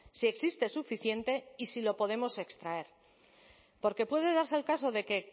si existe suficiente y si lo podemos extraer porque puede darse el caso de que